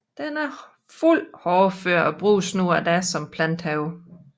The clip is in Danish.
Den er fuldt hårdfør og bruges nu og da som haveplante